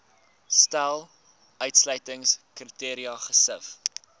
stel uitsluitingskriteria gesif